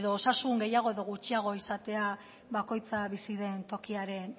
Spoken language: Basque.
edo osasun gehiago edo gutxiago izatea bakoitza bizi den tokiaren